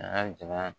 A ka ja